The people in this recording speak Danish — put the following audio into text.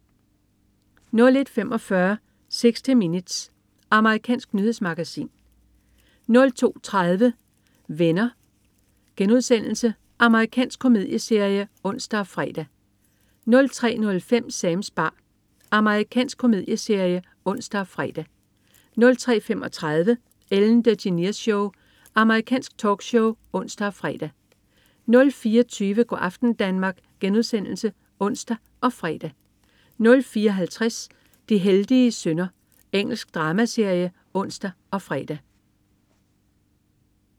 01.45 60 Minutes. Amerikansk nyhedsmagasin 02.35 Venner.* Amerikansk komedieserie (ons og fre) 03.05 Sams bar. Amerikansk komedieserie (ons og fre) 03.35 Ellen DeGeneres Show. Amerikansk talkshow (ons og fre) 04.20 Go' aften Danmark* (ons og fre) 04.50 De heldige synder. Engelsk dramaserie (ons og fre)